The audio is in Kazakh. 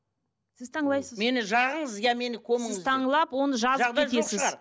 сіз мені жағыңыз иә мені көміңіз сіз оны жазып кетесіз